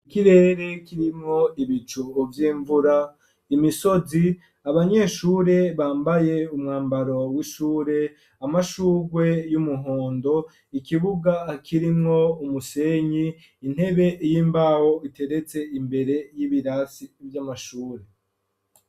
Ikirere kirimwo ibicu vy'imvura imisozi abanyeshure bambaye umwambaro w'ishure amashugwe y'umuhondo ikibuga kirimwo umusenyi intebe y'imbaho iteretse imbere y'ibirasi vy'amashure.